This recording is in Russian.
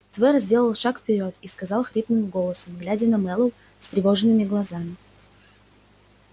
твер сделал шаг вперёд и сказал хриплым голосом глядя на мэллоу встревоженными глазами